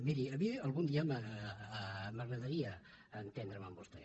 miri a mi algun dia m’agradaria entendre’m amb vostè